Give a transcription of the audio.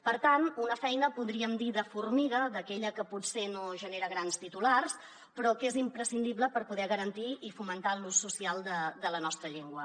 per tant una feina podríem dir de formiga d’aquella que potser no genera grans titulars però que és imprescindible per poder garantir i fomentar l’ús social de la nostra llengua